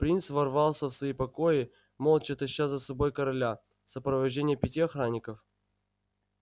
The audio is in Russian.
принц ворвался в свои покои молча таща за собой короля в сопровождении пяти охранников